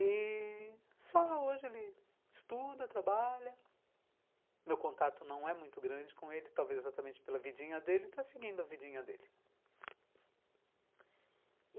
E... só hoje ele estuda, trabalha, meu contato não é muito grande com ele, talvez exatamente pela vidinha dele, está seguindo a vidinha dele.